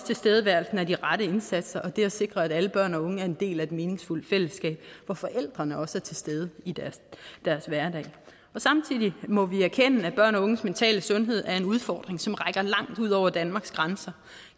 tilstedeværelsen af de rette indsatser og det at sikre at alle børn og unge er en del af et meningsfuldt fællesskab hvor forældrene også er til stede i deres hverdag samtidig må vi erkende at børn og unges mentale sundhed er en udfordring som rækker langt ud over danmarks grænser